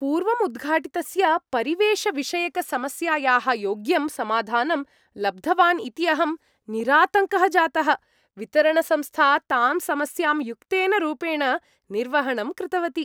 पूर्वम् उद्घाटितस्य परिवेषविषयकसमस्यायाः योग्यं समाधानं लब्धवान् इति अहं निरातङ्कः जातः, वितरणसंस्था तां समस्यां युक्तेन रूपेण निर्वहणं कृतवती।